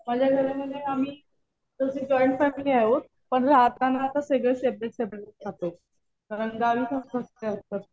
माझ्या घरामध्ये आम्ही तशी जॉईंट फॅमिली आहोत पण राहताना सगळे सेपरेट सेपरेट राहतो. कारण गावीच असतात ते तर.